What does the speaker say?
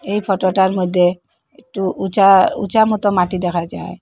এই ফটো -টার মইদ্যে একটু উঁচা উঁচামত মাটি দেখা যায়।